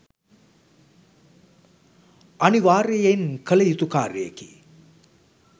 අනිවාර්යයෙන් කළ යුතු කාර්යයකි.